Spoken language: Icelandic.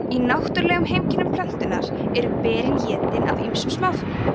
í náttúrulegum heimkynnum plöntunnar eru berin étin af ýmsum smáfuglum